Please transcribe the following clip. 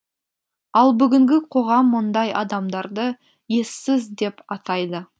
ал бүгінгі қоғам мұндай адамдарды ессіз деп атайды